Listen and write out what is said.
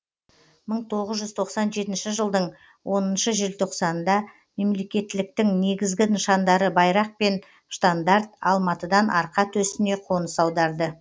мың тоғыз жүз тоқсан жетінші жылдың оныншы желтоқсанында мемлекеттіліктің негізгі нышандары байрақ пен штандарт алматыдан арқа төсіне қоныс аударды